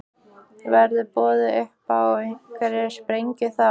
Verður boðið upp á einhverja sprengju þá?